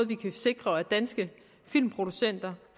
vi kan sikre at danske filmproducenter